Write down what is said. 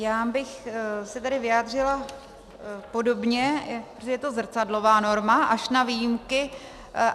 Já bych se tedy vyjádřila podobně, protože to je zrcadlová norma, až na výjimky.